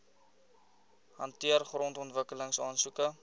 hanteer grondontwikkeling aansoeke